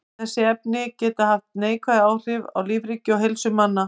Þessi efni geta haft neikvæð áhrif á lífríki og heilsu manna.